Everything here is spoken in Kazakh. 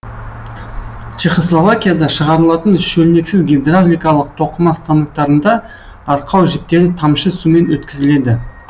чехославакияда шығарылатын шөлнексіз гидравликалық тоқыма станоктарында арқау жіптері тамшы сумен өткізіледі